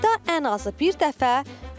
Ayda ən azı bir dəfə.